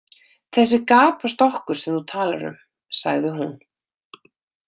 Þessi gapastokkur sem þú talar um, sagði hún.